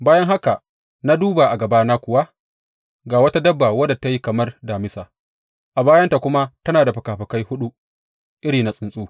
Bayan haka, na duba, a gabana kuwa ga wata dabba wadda ta yi kamar Damisa, a bayanta kuma tana da fikafikai huɗu irin na tsuntsu.